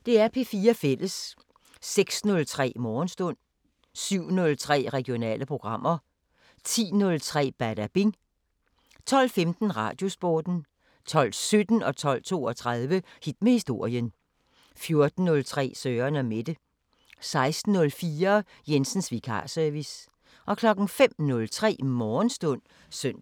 06:03: Morgenstund 07:03: Regionale programmer 10:03: Badabing 12:15: Radiosporten 12:17: Hit med historien 12:32: Hit med historien 14:03: Søren & Mette 16:04: Jensens Vikarservice 05:03: Morgenstund (søn-fre)